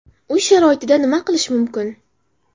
Uy sharoitida nima qilish mumkin?